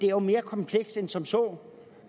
er mere komplekst end som så